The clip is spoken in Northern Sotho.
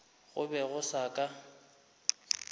go be go se ka